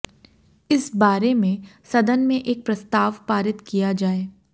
इस बारे में सदन में एक प्रस्ताव पारित किया जाए